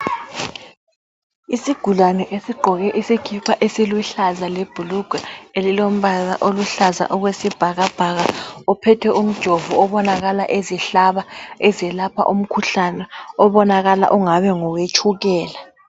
Isigulane esigqoke isikipa esiluhlaza lebhulugwe elilombala oluhlaza okwesibhakabhaka uphethe unjovo obonakala ezihlaba ezelapha umkhuhlane obonakala ungabe ngowe tshukela.